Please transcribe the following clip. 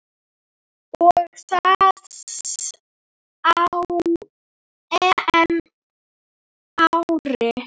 Og það á EM-ári.